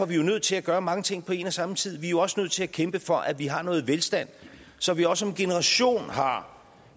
vi nødt til at gøre mange ting på en og samme tid vi er jo også nødt til at kæmpe for at vi har noget velstand så vi også om en generation har